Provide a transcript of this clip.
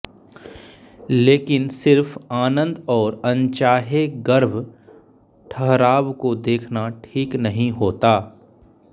लेकिन सिर्फ आनंद और अनचाहे गर्भ ठहराव को देखना ठीक नही होता